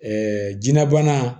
jiyɛnna bana